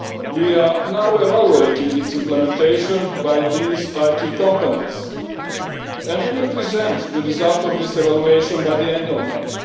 We are now evaluating its implementation by these IT companies and we will present the result of this evaluation by the end of May.